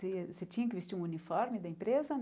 Se se tinha que vestir um uniforme da empresa?